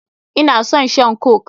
Ina son shan coke.